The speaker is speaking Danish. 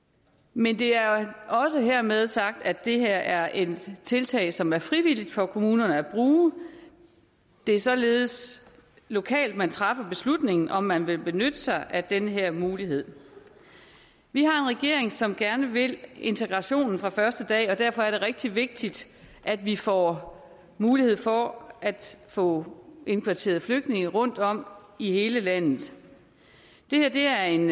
men det er også hermed sagt at det her er et tiltag som det er frivilligt for kommunerne at bruge det er således lokalt man træffer beslutning om om man vil benytte sig af den her mulighed vi har en regering som gerne vil integrationen fra første dag og derfor er det rigtig vigtigt at vi får mulighed for at få indkvarteret flygtningene rundtom i hele landet det her er en